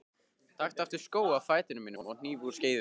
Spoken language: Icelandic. Taktu aftur skó af fæti mínum og hníf úr skeiðum.